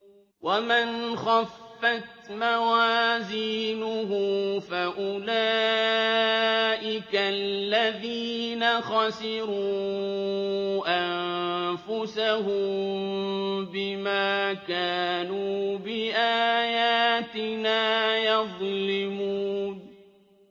وَمَنْ خَفَّتْ مَوَازِينُهُ فَأُولَٰئِكَ الَّذِينَ خَسِرُوا أَنفُسَهُم بِمَا كَانُوا بِآيَاتِنَا يَظْلِمُونَ